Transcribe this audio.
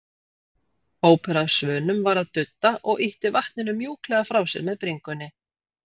Hópur af svönum var að dudda og ýtti vatninu mjúklega frá sér með bringunni.